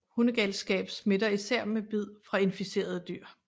Hundegalskab smitter især ved bid fra inficerede dyr